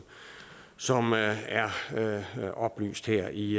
som er oplyst her i